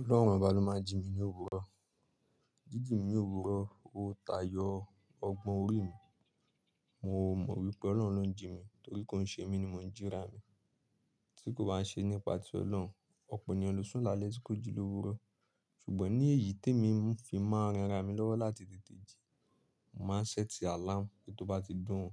Ọlọrun ọba lọ maa n jí ní ni owurọ. Jíjìn mi ní òwúrọ̀, ó tayọ ọgbọ́n orí mi. Mo mọ wípé Ọlọ́run ló ń jí mi torí kó ṣe mí ni mo ń jíra mi, tí kò bá ṣe nípa ti Ọlọ́run, ọ̀pọ̀ ènìyàn ló sùn lálẹ́ tí kò jí lòwúrọ̀. Ṣùgbọ́n ní èyí tí èmi n fi máa ń ran ara mi lọ́wọ́ láti tètè jí, màá ṣẹ́ẹ̀tì àláàmú, kí tó bá ti dùn ún,